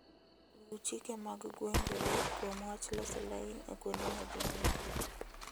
Luw chike mag gwengeu kuom wach loso lain e kuonde ma ji ng'enyie.